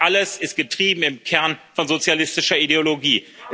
Das alles ist getrieben im Kern von sozialistischer Ideologie.